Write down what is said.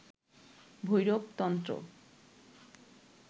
ভৈরব তন্ত্র